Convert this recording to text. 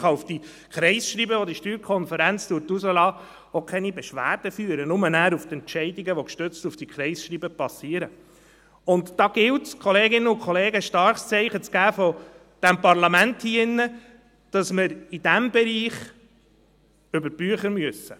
Man kann gegen die Kreisschreiben der SSK auch keine Beschwerde führen, sondern nur gegen Entscheide, welche auf diese Kreisschreiben basieren, und da gilt es von diesem Parlament hier drin, Kolleginnen und Kollegen, ein starkes Zeichen zu setzen, weil wir in diesem Bereich über die Bücher gehen müssen.